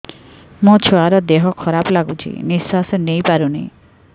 ମୋ ଛୁଆର ଦିହ ଖରାପ ଲାଗୁଚି ନିଃଶ୍ବାସ ନେଇ ପାରୁନି